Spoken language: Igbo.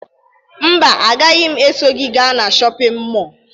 Mba, agaghị m eso gị gaa na shọpịn mọọ